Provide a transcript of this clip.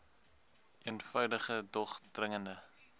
eenvoudige dog dringende